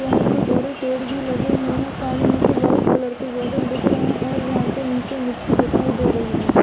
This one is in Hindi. यहाँ पे बड़े पेड़ भी लगे हुए है सामने से वाइट कलर के दिख रहे है और यहाँ पे नीचे मिट्टी दिखाई दे रही है।